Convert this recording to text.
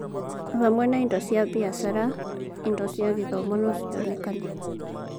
Hamwe na indo cia biacara, indo cia gĩthomo no cionekane.